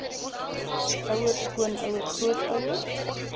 ouer skoonouer grootouer